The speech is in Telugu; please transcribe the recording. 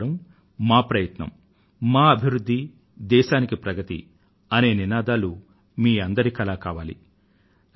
మా నగరం మా ప్రయత్నం మా అభివృధ్ధి దేశానికి ప్రగతి అనే నినాదాలు మీ అందరి కలా కావాలి